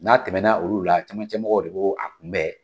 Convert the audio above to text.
N'a tɛmɛna olu la ,camancɛ mɔgɔw de bo a kunbɛn.